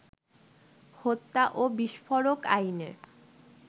হত্যা ও বিস্ফোরক আইনে